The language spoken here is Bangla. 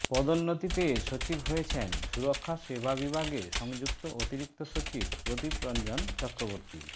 পদোন্নতি পেয়ে সচিব হয়েছেন সুরক্ষা সেবা বিভাগে সংযুক্ত অতিরিক্ত সচিব প্রদীপ রঞ্জন চক্রবর্তী